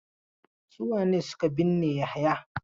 Su wane ne suke binne Yahaya?